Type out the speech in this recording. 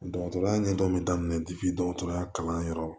Dɔgɔtɔrɔya ɲɛdɔn bɛ daminɛ dɔgɔtɔrɔya kalan yɔrɔ